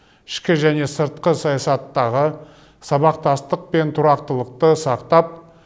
ішкі және сыртқы саясаттағы сабақтастық пен тұрақтылықты сақтап